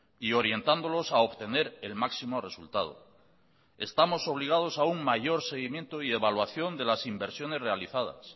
y orientándolos a obtener el máximo resultado estamos obligados a un mayor seguimiento y evaluación de las inversiones realizadas